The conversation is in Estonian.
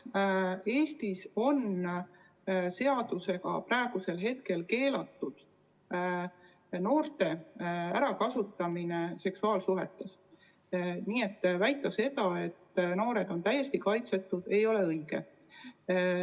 Eestis on praegu seadusega keelatud noorte ärakasutamine seksuaalsuhetes, nii et väita seda, et noored on täiesti kaitsetud, ei ole õige.